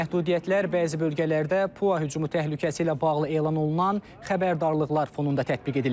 Məhdudiyyətlər bəzi bölgələrdə PUA hücumu təhlükəsi ilə bağlı elan olunan xəbərdarlıqlar fonunda tətbiq edilib.